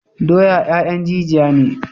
Doya 'ya'yan jijiya ne.